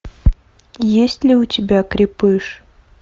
есть ли у тебя крепыш